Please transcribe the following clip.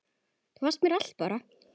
Þú varst mér allt, Bára.